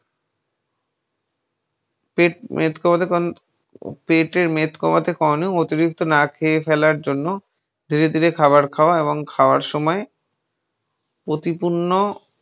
পেট মেদ কমাতে পেটের মেদ কমাতে কারণে অতিরিক্ত না খেয়ে ফেলার জন্য ধীরে ধীরে খাবার খাওয়া এবং খাওয়ার সময় প্রতিপূর্ণ